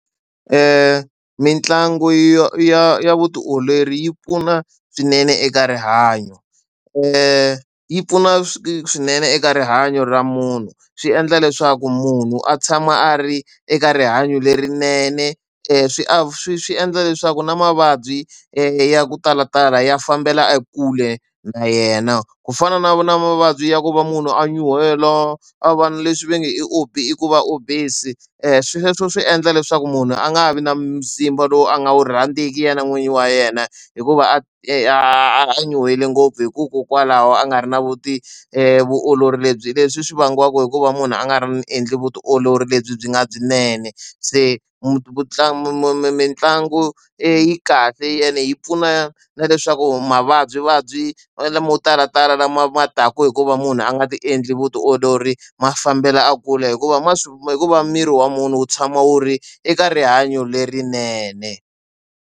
Mitlangu ya ya ya vutiolori yi pfuna swinene eka rihanyo, yi pfuna swinene eka rihanyo ra munhu swi endla leswaku munhu a tshama a ri eka rihanyo lerinene swi swi swi endla leswaku na mavabyi ya ku talatala ya fambela kule na yena. Ku fana na na mavabyi ya ku va munhu a nyuhela, a va na leswi va nge i i ku va obese. Swilo sweswo swi endla leswaku munhu a nga ha vi na mzimba lowu a nga wu rhandziku yena n'wini wa yena, hikuva nyuhele ngopfu hikokwalaho a nga ri na vuolori lebyi leswi swi vangiwa hi ku va munhu a nga endli vutiolori lebyi byi nga byinene. Se mitlangu kahle ene yi pfuna na leswaku mavabyivabyi malama mo talatala lama ma taka hikuva munhu a nga ti endli vutiolori, ma fambela a kula hikuva ma hikuva miri wa munhu wu tshama wu ri eka rihanyo lerinene.